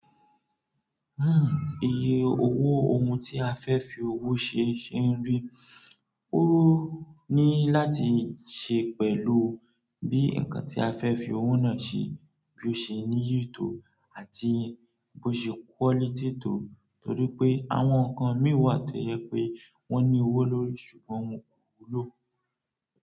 Hmm iye owó ohun tí a fẹ́ fi owó ṣe ṣe ń rí. Ó ní láti ṣe pẹ̀lú bí nǹkan tí a fẹ́ fi owó náà ṣe, bí ó ṣe níyì to àti bí ó ṣe quality to. Torí pé àwọn nǹkan mìíràn tó jẹ pé wọ́n ní owó lórí ṣùgbọ́n wọn kò wúlò.